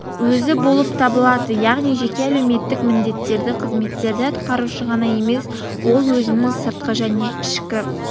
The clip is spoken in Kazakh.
өзі болып табылады яғни жеке әлеуметтік міндеттерді қызметтерді атқарушы ғана емес ол-өзінің сыртқы және ішкі